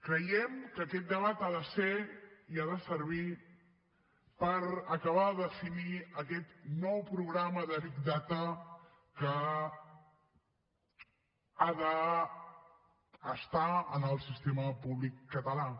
creiem que aquest debat ha de ser i ha de servir per acabar de definir aquest nou programa de big data que ha d’estar en el sistema públic català